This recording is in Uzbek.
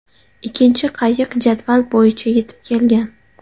Ikkinchi qayiq jadval bo‘yicha yetib kelgan.